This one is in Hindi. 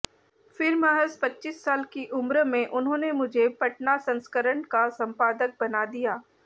फिर महज़ पच्चीस साल की उम्र में उन्होंने मुझे पटना संस्करण का संपादक बना दिया